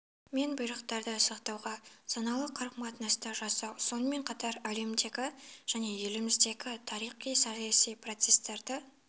мен бұйрықтарды сақтауға саналы қарым қатынасты жасау сонымен қатар әлемдегі және еліміздегі тарихи саяси процесстарды